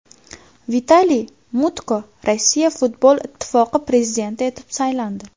Vitaliy Mutko Rossiya futbol ittifoqi prezidenti etib saylandi.